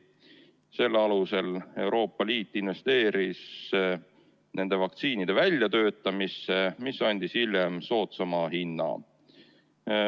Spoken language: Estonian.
Selle alusel Euroopa Liit investeeris vaktsiinide väljatöötamisse ja nii saadi hiljem soodsama hinna eest.